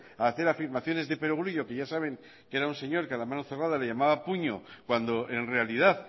a hacer afirmaciones de perogrullo que ya saben que era un señor que a la mano cerrada le llamaba puño cuando en realidad